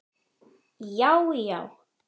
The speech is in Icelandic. Já já!